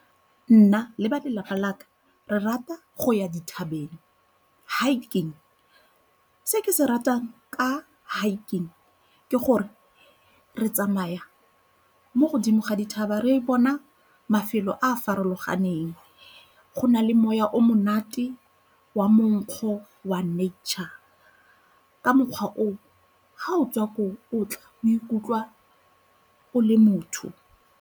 Nna le ba lelapa laka re rata go ya dithabeng, hiking. Se ke se ratang ka hiking ke gore re tsamaya mo godimo ga dithaba re bona mafelo a a farologaneng, go na le moya o monate wa monkgo wa nature, ka mokgwa oo, ga o tswa koo o tla o ikutlwa o le motho.